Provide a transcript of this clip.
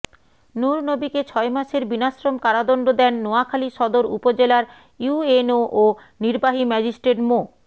নুরনবীকে ছয় মাসের বিনাশ্রম কারাদণ্ড দেন নোয়াখালী সদর উপজেলার ইউএনও ও নির্বাহী ম্যাজিস্ট্রেট মো